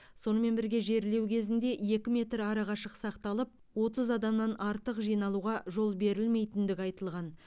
сонымен бірге жерлеу кезінде екі метр арақашық сақталып отыз адамнан артық жиналуға жол берілмейтіндігі айтылған